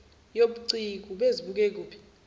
yobuciko ubezibuka ekuphi